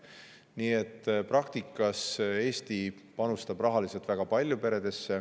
Nii et praktikas panustab Eesti peredesse rahaliselt väga palju.